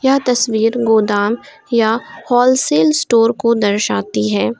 यह तस्वीर गोदाम या होलसेल स्टोर को दर्शाती है।